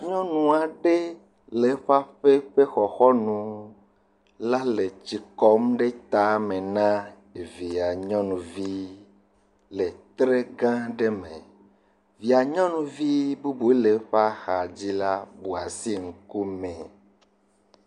Nyɔnu aɖe le aƒe aƒe ƒe xɔxɔnu la le tsi kɔm ɖe ta na via nyɔnuvi le tre gã aɖe me, via nyɔnuvi bubu le eƒe axa dzi la bu asi ŋkume.